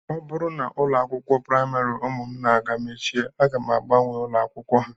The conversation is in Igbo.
Ọ bụrụ na ụlọ akwụkwọ praịmarị ụmụ m na-aga mechie aga m agbanwe ụlọakwụkwọ ha